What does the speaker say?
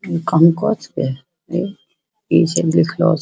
इ कनको छे इ इ सब लिखलो --